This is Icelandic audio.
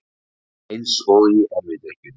Eins og í erfidrykkjunni.